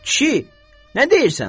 Kişi, nə deyirsən?